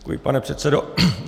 Děkuji, pane předsedo.